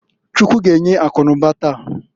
Chukwu g'enye akụ n'ụba taa.